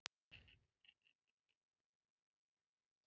Ég gleymi ekki þeim orðum hans.